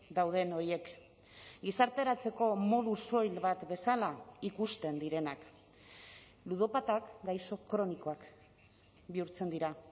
dauden horiek gizarteratzeko modu soil bat bezala ikusten direnak ludopatak gaixo kronikoak bihurtzen dira